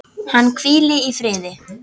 Hann hvíli í friði.